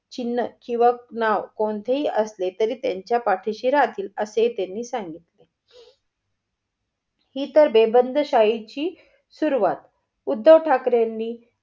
चिन्ह किंवा नाव कोणतेही असले तरी त्यांच्या पाठीशी राहतील असे त्यांनी सांगितले. ही तर बेबंदीशाही ची सुरुवात. उद्धव ठाकरेनी